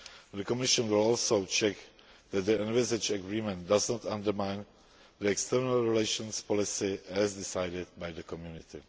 The Commission will also check that the envisaged agreement does not undermine external relations policy as decided by the Community.